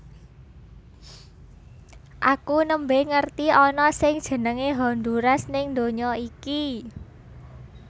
Aku nembe ngerti ana sing jenenge Honduras ning dunya iki